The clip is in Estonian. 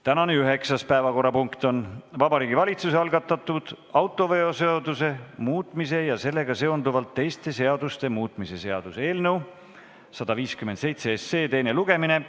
Tänane üheksas päevakorrapunkt on Vabariigi Valitsuse algatatud autoveoseaduse muutmise ja sellega seonduvalt teiste seaduste muutmise seaduse eelnõu 157 teine lugemine.